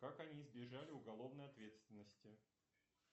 как они избежали уголовной ответственности